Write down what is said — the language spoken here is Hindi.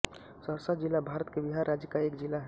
सहरसा ज़िला भारत के बिहार राज्य का एक ज़िला है